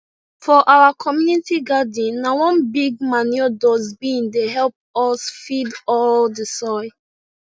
for our community garden na one big manure dustbin dey help us feed all the soil